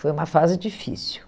Foi uma fase difícil.